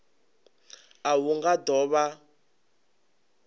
a hu nga do vha